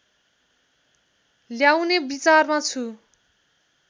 ल्याउने विचारमा छु